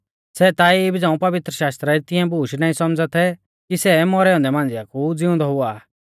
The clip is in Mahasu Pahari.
सै ता इबी झ़ांऊ पवित्रशास्त्रा री तिऐं बूश नाईं सौमझ़ै थै कि सेऊ मौरै औन्दै मांझ़िआ कु ज़िउंदौ हुआ आ